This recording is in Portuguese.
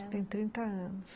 Acho que tem trinta anos.